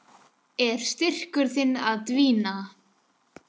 Er styrkur þinn að dvína?